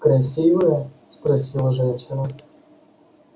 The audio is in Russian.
красивая спросила женщина